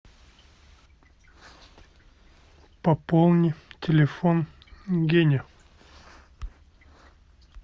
пополни телефон гене